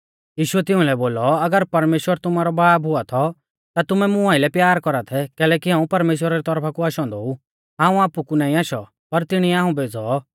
यीशुऐ तिउंलै बोलौ अगर परमेश्‍वर तुमारौ बाब हुआ थौ ता तुमै मुं आइलै प्यार कौरा थै कैलैकि हाऊं परमेश्‍वरा री तौरफा कु आशौ औन्दौ ऊ हाऊं आपु कु नाईं आशौ पर तिणीऐ हाऊं भेज़ौ